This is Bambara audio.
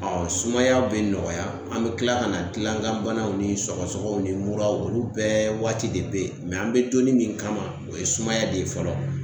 Ɔ sumayaw be nɔgɔya an be tila ka na gilan kan banaw ni sɔgɔsɔgɔw ni mura olu bɛɛ waati de be yen mɛ an be donni min kama o ye sumaya de ye fɔlɔ